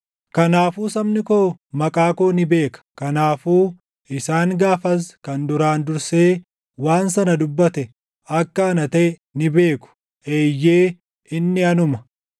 Kanaafuu sabni koo maqaa koo ni beeka; kanaafuu isaan gaafas kan duraan dursee waan sana dubbate akka ana taʼe ni beeku. Eeyyee, inni anuma.”